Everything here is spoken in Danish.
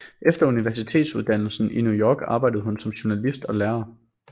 Efter universitetsuddannelse i New York arbejdede hun som journalist og lærer